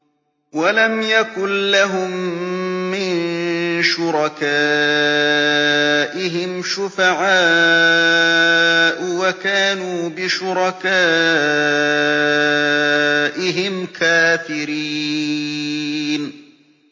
وَلَمْ يَكُن لَّهُم مِّن شُرَكَائِهِمْ شُفَعَاءُ وَكَانُوا بِشُرَكَائِهِمْ كَافِرِينَ